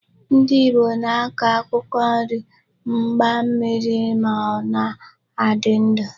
Ndị Ìgbo na-akọ akwụkwọ nri mgbammiri ma ọ na-adị ọnụ.